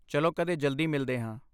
ਚਲੋ ਕਦੇ ਜਲਦੀ ਮਿਲਦੇ ਹਾਂ।